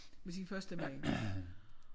Med sin første mand